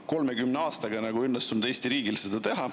30 aastaga ei ole õnnestunud Eesti riigil seda teha.